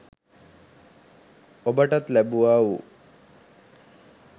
ඔබටත් ලැබුවා වූ